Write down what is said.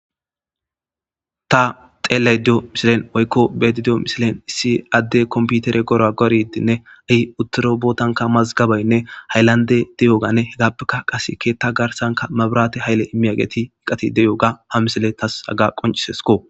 ta xeeley diyo misilen oykko bedi diyo misilen issi adde komputere gora goridinne ahi uttoro bootanka mazgabeynne haylande de7ooganne hegappeka qaseke ta garsanka mabirate hayle immi ageti iqati deyoga ha misile tas haga qoncisesko